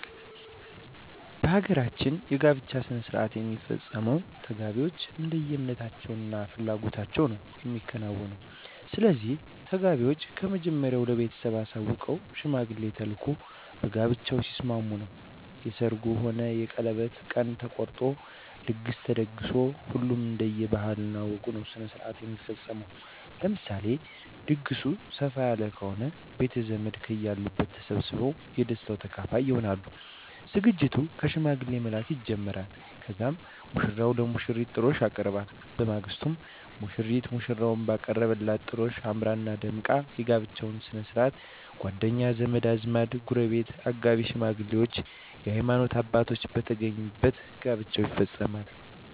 በ ሀገራችን የ ጋብቻ ሥነሥርዓት የሚፈፀመው ተጋቢዎች እንደየ እምነታቸው እና ፍላጎታቸው ነዉ የሚከናወነው። ስለዚህ ተጋቢዎች ከመጀመሪያው ለ ቤተሰብ አሳውቀው ሽማግሌ ተልኮ በጋብቻው ሲስማሙ ነው የ ሰርጉ ሆነ የቀለበት ቀን ተቆርጦ ድግስ ተደግሶ ሁሉም እንደየ ባህል ወጉ ነዉ ስነስርዓቱ የሚፈፀመው። ለምሳሌ ድግሱ ሰፍ ያለ ከሆነ ቤተዘመድ ከየ አሉበት ተሰባስበው የ ደስታው ተካፋይ ይሆናሉ። ዝግጅቱ ከ ሽማግሌ መላክ ይጀመራል ከዛም ሙሽራው ለሙሽሪት ጥሎሽ ያቀርባል። በማግስቱ ሙሽሪትም ሙሽራው ባቀረበላት ጥሎሽ አምራና ደምቃ የ ጋብቻቸው ስነስርዓት ጎደኛ, ዘመድአዝማድ, ጎረቤት ,አጋቢ ሽማግሌዎች የ ሀይማኖት አባቶች በተገኙበት ጋብቻው ይፈፀማል።